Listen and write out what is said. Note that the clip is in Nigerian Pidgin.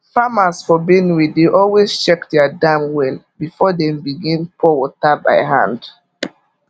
farmers for benue dey always check their dam well before dem begin pour water by hand